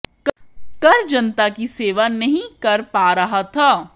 कर जनता की सेवा नहीं कर पा रहा था